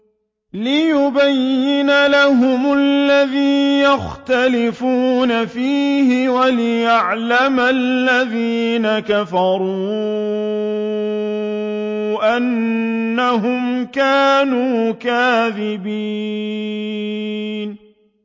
لِيُبَيِّنَ لَهُمُ الَّذِي يَخْتَلِفُونَ فِيهِ وَلِيَعْلَمَ الَّذِينَ كَفَرُوا أَنَّهُمْ كَانُوا كَاذِبِينَ